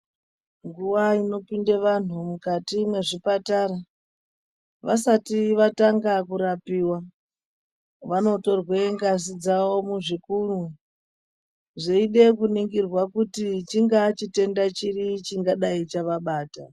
Nguva inopinde vantu mukati mwezvipatara vasati vatanga kurapiwa vanotorwe ngazi dzawo muzvikunwe zveida kuningira kuti chingawa chitenda chiri chingadai chavabata.